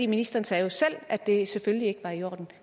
ministeren sagde jo selv at det selvfølgelig ikke var i orden